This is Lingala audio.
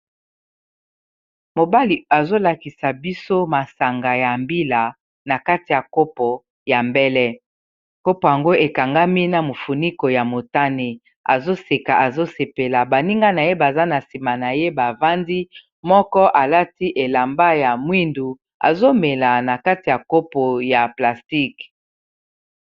mobali azolakisa biso masanga ya mbila na kati ya kopo ya mbele kopo ango ekangami na mofuniko ya motane azoseka azosepela baninga na ye baza na nsima na ye bavandi moko alati elamba ya mwindu azomela na kati ya kopo ya plastice